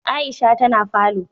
Aisha ta na falo